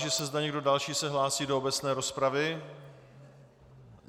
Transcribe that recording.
Táži se, zda někdo další se hlásí do obecné rozpravy.